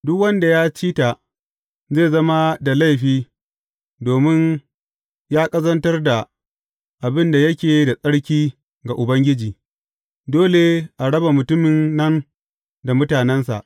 Duk wanda ya ci ta zai zama da laifi domin ya ƙazantar da abin da yake da tsarki ga Ubangiji, dole a raba mutumin nan da mutanensa.